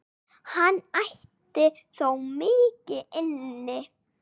Hann ætti þó mikið inni.